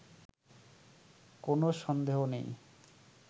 কোনো সন্দেহ নেই